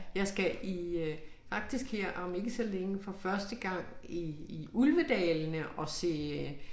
Jeg skal i øh faktisk her om ikke så længe for første gang i i Ulvedalene og se øh